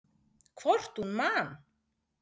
Hvort hún man!